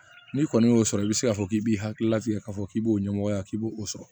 N'i kɔni y'o sɔrɔ i bɛ se k'a fɔ k'i b'i hakilila fiyɛ k'a fɔ k'i b'o ɲɛmɔgɔya k'i b'o sɔrɔ